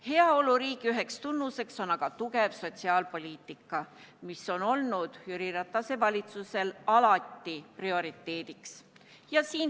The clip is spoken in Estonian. Heaoluriigi üheks tunnuseks on aga tugev sotsiaalpoliitika, mis on olnud Jüri Ratase valitsusel alati prioriteediks.